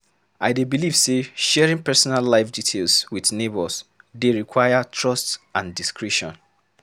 I dey believe say sharing personal life details with neighbors dey require trust and discretion.